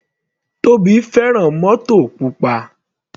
Tobi fẹ́ràn mótò pupa.